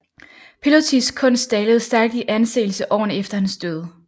Pilotys kunst dalede stærkt i anseelse årene efter hans død